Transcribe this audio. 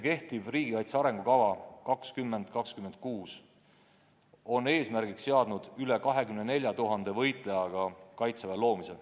Kehtiv riigikaitse arengukava 2020–2026 on eesmärgiks seadnud veidi üle 24 000 võitlejaga Kaitseväe loomise.